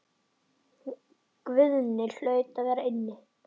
Guðni hlaut að vera inni.